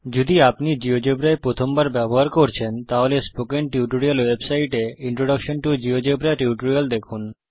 যদি আপনি জীয়োজেব্রা এই প্রথমবার ব্যবহার করছেন তাহলে স্পোকেন টিউটোরিয়াল ওয়েবসাইটে ইন্ট্রোডাকশন টো জিওজেবরা টিউটোরিয়াল দেখুন